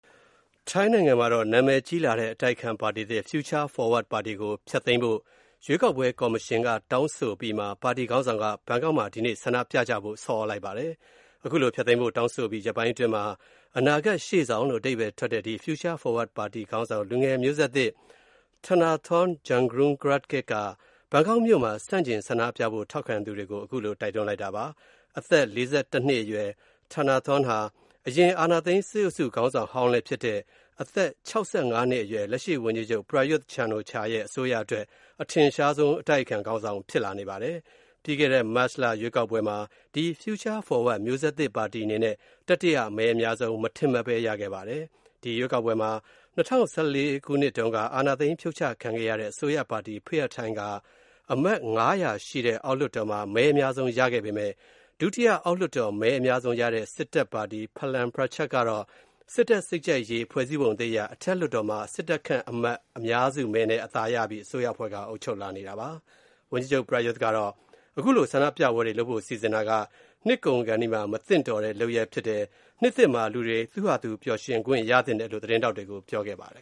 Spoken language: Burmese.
ထိုင်းနိုင်ငံမှာ နာမည်ကြီးလာတဲ့ အတိုက်အခံပါတီသစ် Future Forward ပါတီကို ဖျက်သိမ်းဖို့ ရွေးကောက်ပွဲကော်မရှင်က ဆုံးဖြတ်အပြီးမှာ ပါတီခေါင်းဆောင်က ဘန်ကောက်မှာ ဒီနေ့ ဆန္ဒပြကြဖို့ နှိုးဆော်ထားပါတယ်။ ခုလို ပါတီဖျက်သိမ်းဖို့ ဆုံးဖြတ်အပြီး ရက်ပိုင်းအတွင်းမှာ အနာဂတ်ရှေ့ဆောင်လို့ အဓိပ္ပါယ်ထွက်မယ့် ဒီ Future Forward ပါတီခေါင်းဆောင် လူငယ်မျိုးဆက်သစ် Thanathorn Juangroongruangkit က ဘန်ကောက်မြို့မှာ ဆန္ဒပြပွဲလုပ်ဖို့ ထောက်ခံသူတွေကို တိုက်တွန်းထားတာဖြစ်ပါတယ်။ အသက် ၄၁ နှစ်အရွယ် Thanathorn ဟာ အရင်အာဏာသိမ်း စစ်အုပ်စုခေါင်းဆောင်ဟောင်း လည်းဖြစ်တဲ့ အသက် ၆၅ နှစ် အရွယ် လက်ရှိဝန်ကြီးချုပ် Prayuth Chan-ocha အစိုးရအတွက် အထင်ရှားဆုံး အတိုက်အခံခေါင်းဆောင် ဖြစ်လာနေပါတယ်။ ပြီးခဲ့တဲ့ မတ်လရွေးကောက်ပွဲမှာ Future Forward မျိုးဆက်သစ်ပါတီအနေနဲ့ မထင်မှတ်ဘဲ တတိယ မဲအများဆုံး ရခဲ့ပါတယ်။ ဒီရွေးကောက်ပွဲမှာ ၂၀၁၄ ခုနှစ်က အာဏာသိမ်းဖြုတ်ချခံခဲ့ရတဲ့ ဝန်ကြီးချုပ်ဟောင်း Thaksin Shinawatra ဦးဆောင်ခဲ့တဲ့ Pheu Thai ပါတီက အမတ် ၅၀၀ ရှိတဲ့ အောက်လွှတ်တော်မှာ မဲအများဆုံးရခဲ့ပေမယ့် ဒုတိယ မဲအများဆုံးရခဲ့တဲ့ စစ်တပ်ပါတီ Palang Pracharat က စစ်တပ်စိတ်ကြိုက်ရေးဆွဲထားတဲ့ ဖွဲ့စည်းပုံသစ်အရ အထက်လွှတ်တော်မှာ စစ်တပ်ခန့်အမတ်အများစုမဲနဲ့ အသာရပြီး အစိုးရဖွဲ့ထားတာပါ။ ဝန်ကြီးချုပ် Prayuth ကတော့ ခုလို ဆန္ဒပြပွဲတွေလုပ်ဖို့ စီစဉ်တာက နှစ်ကုန်ခါနီးမှာ မသင့်တော်တဲ့ လုပ်ရပ်ဖြစ်တယ်၊ နှစ်သစ်မှာ လူတွေ သူ့ဟာသူ ပျှော်ရွင်ခွင့်ရသင့်တယ်လို့ သတင်းထောက်တွေကို ပြောခဲ့ပါတယ်